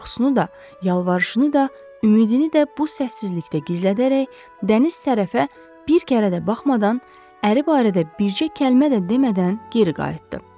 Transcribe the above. Qorxusunu da, yalvarışını da, ümidini də bu səssizlikdə gizlədərək dəniz tərəfə bir kərə də baxmadan əri barədə bircə kəlmə də demədən geri qayıtdı.